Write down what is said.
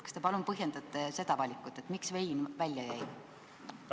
Kas te palun põhjendaksite seda valikut, miks vein välja jäi?